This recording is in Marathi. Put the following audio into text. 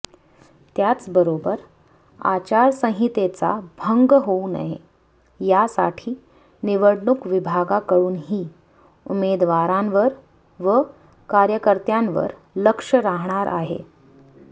त्याचबरोबर आचारसंहितेचा भंग होऊ नये यासाठी निवडणूक विभागाकडूनही उमेदवारांवर व कार्यकर्त्यांवर लक्ष राहणार आहे